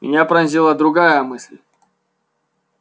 меня пронзила другая мысль